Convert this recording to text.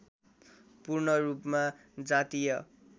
पूर्णरूपमा जातीय